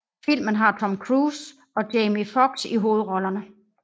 Filmen har Tom Cruise og Jamie Foxx i hovedrollerne